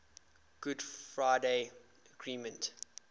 good friday agreement